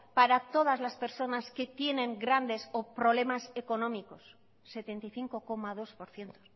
para todas las personas que tienen grandes o problemas económicos setenta y cinco coma dos por ciento